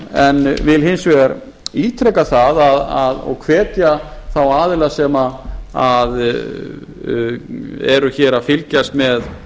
en vil hins vegar ítreka það og hvetja þá aðila sem eru hér að fylgjast með